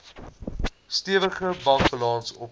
stewige bankbalans opgebou